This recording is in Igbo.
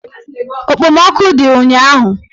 Okpomọkụ dị ụnyaahụ